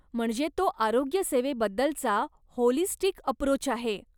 म्हणजे तो आरोग्यसेवेबद्दलचा होलिस्टिक अप्रोच आहे.